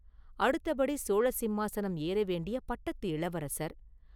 அடுத்தபடி சோழ சிம்மாசனம் ஏறவேண்டிய பட்டத்து இளவரசர்.